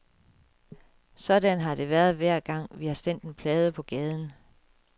Sådan har det været hver gang, vi har sendt en plade på gaden.